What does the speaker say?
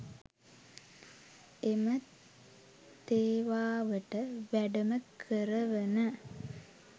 එම තේවාවට වැඩම කරවන